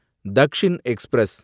Dakshin express